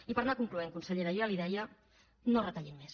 i per anar concloent consellera jo ja li ho deia no retallin més